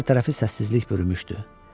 Hər tərəfi səssizlik bürümüşdü.